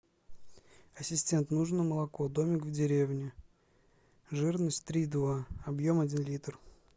ассистент нужно молоко домик в деревне жирность три и два объем один литр